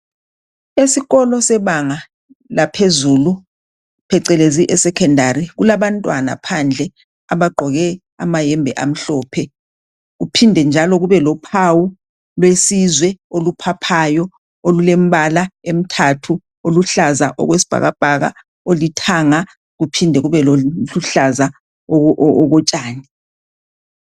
Esikolo sebanga laphezulu, phecelezi, esecondary. Kulabantwana phandle, abagqoke amayembe amhlophe . Kuphinde njalo kubelophawu lwesizwe oluphaphayo . Olulembala emithathu. Oluhlaza okwesibhakabhaka, olithanga, kuphinde kube loluhlaza okotshani.